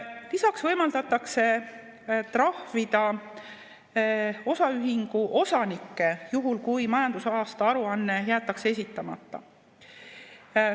Lisaks võimaldatakse trahvida osaühingu osanikke, juhul kui majandusaasta aruanne jäetakse esitamata.